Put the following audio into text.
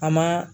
A ma